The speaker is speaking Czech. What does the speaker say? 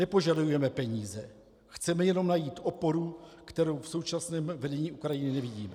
Nepožadujeme peníze, chceme jenom najít oporu, kterou v současném vedení Ukrajiny nevidíme.